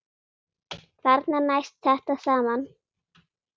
Þarna næst þetta saman.